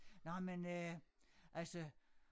Nåh men øh altså